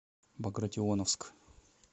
багратионовск